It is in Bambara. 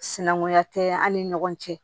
Sinankunya tɛ an ni ɲɔgɔn cɛ